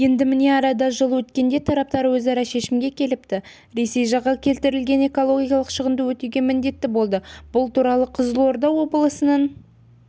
енді міне арада жыл өткенде тараптар ортақ шешімге келіпті ресей жағы келтірілген экологиялық шығынды өтеуге міндетті болды бұл туралы қызылорда облысының